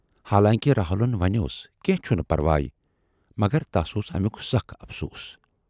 حالانکہِ راہُلن ونیاس کینہہ چھُنہٕ پرواے، مگر تَس اوس امیُک سخ افسوٗس۔